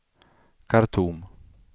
Khartoum